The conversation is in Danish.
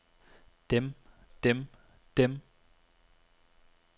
dem dem dem